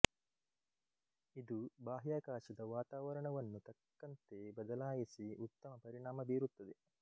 ಇದು ಬಾಹ್ಯಾಕಾಶದ ವಾತಾವರಣವನ್ನು ತಕ್ಕಂತೆ ಬದಲಾಯಿಸಿ ಉತ್ತಮ ಪರಿಣಾಮ ಬೀರುತ್ತದೆ